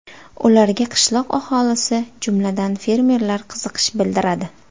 Ularga qishloq aholisi, jumladan fermerlar qiziqish bildiradi.